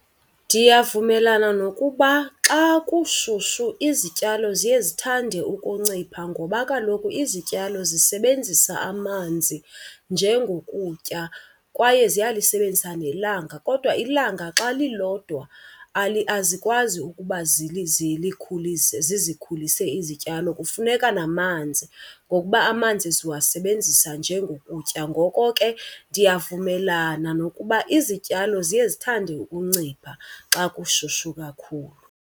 Ndiyavumelana nokuba xa kushushu izityalo ziye zithande ukuncipha ngoba kaloku izityalo zisebenzisa amanzi njengokutya kwaye ziyalisebenzisa nelanga. Kodwa ilanga xa lilodwa azikwazi ukuba zizikhulise izityalo, kufuneka namanzi ngokuba amanzi ziwasebenzisa njengokutya. Ngoko ke ndiyavumelana nokuba izityalo ziye zithande ukuncipha xa kushushu kakhulu.